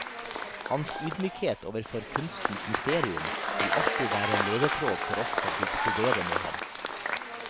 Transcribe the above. Hans ydmykhet overfor kunstens mysterium vil alltid være en ledetråd for oss som fikk studere med ham.